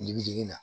Bibi digi la